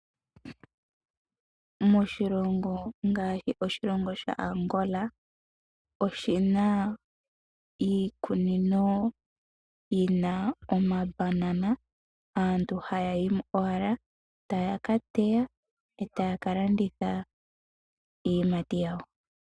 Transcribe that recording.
Moshilongo ngaashi Angola, oshi na iikunino yi na omabanana,. Aantu oha ya yi owala ee ta ya ka teya, ee ta ya ka landitha iiyimati yawo.